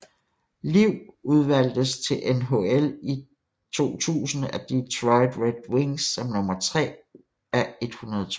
Liv udvalgtes til NHL i 2000 af Detroit Red Wings som nummer 3 af 102